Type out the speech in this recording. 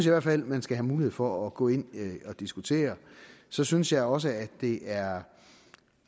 i hvert fald at man skal have mulighed for at gå ind og diskutere så synes jeg også at det er